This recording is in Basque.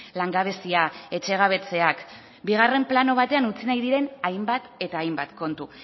langabezia etxegabetzeak bigarren plano batean utzi nahi diren hainbat eta hainbat kontu